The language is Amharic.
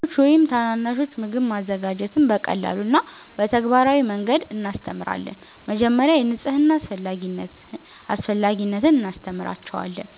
ለልጆች ወይም ታናናሾች ምግብ ማዘጋጀትን በቀላል እና በተግባራዊ መንገድ እናስተምራለን። መጀመሪያ የንጽህና አስፈላጊነት እናስተምራቸዋለን፤